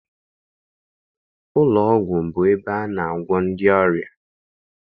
Ụlọọgwụ bụ ebe a na-agwọ ndị ọrịa.